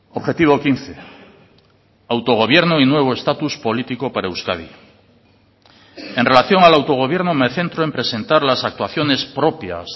objetivo quince autogobierno y nuevo estatus político para euskadi en relación al autogobierno me centro en presentar las actuaciones propias